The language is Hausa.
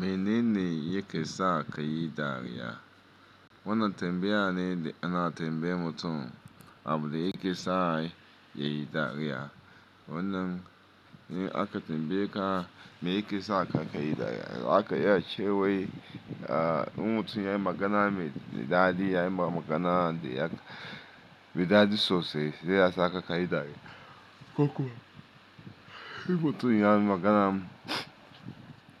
Menene yake sa ka yi dariya? Wannan tambaya ne da ana tambaye mutum abin da yake sa ya yi dariya. Wannan akatambaye ka me yake sa ka yi dariya, zaka yace wai immutum ya yi magana, me daɗi ya yi magana da me daɗi sosai, sai ya sa ka ka yi dariya. Kokuma mutum ya yi magana,